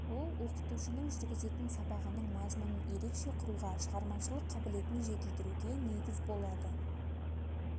ол оқытушының жүргізетін сабағының мазмұнын ерекше құруға шығармашылық қабілетін жетілдіруге негіз болады